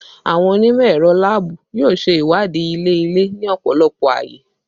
Awọn onimọ-ẹrọ laabu yoo ṣe iwadii ilẹ-ilẹ ni ọpọlọpọ awọn aaye